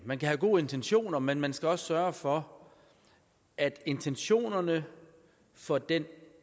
man kan have gode intentioner men man skal også sørge for at intentionerne for den